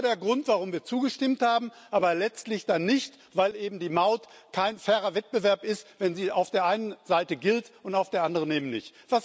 Das war der Grund, warum wir zugestimmt haben aber letztlich dann nicht, weil eben die Maut kein fairer Wettbewerb ist, wenn sie auf der einen Seite gilt und auf der anderen eben nicht.